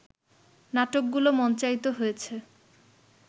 নাটকগুলো মঞ্চায়িত হয়েছে